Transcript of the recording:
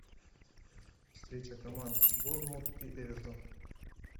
встреча команд борнмут и эвертон